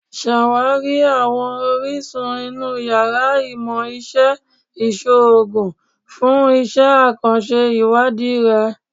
Ṣawakiri awọn orisun inu yàrá Imọ-iṣe Iṣoogun fun iṣẹ akanṣe iwadii rẹ